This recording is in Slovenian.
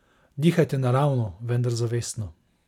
Dihajte naravno, vendar zavestno.